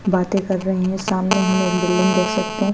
बातें कर रहे हैं सामने हम एक बिल्डिंग देख सकते हैं।